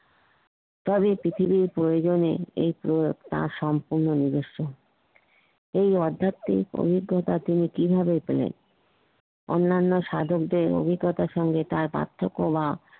এই পৃথিবীর প্রয়োজনে তার সম্পূর্ণ নিজস্ব এই আধ্যাত্মিক অভিজ্ঞতা তিনি কিভাবে পেলেন, অনন্যাও সাধকদের অভিজ্ঞতা এর সাথে তার পার্থক্য বা